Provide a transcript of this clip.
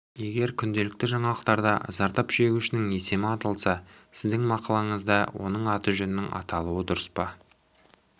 егер күнделікті жаңалықтарда зардап шегушінің есімі аталса сіздің мақалаңызда оның аты-жөнінің аталуы дұрыс па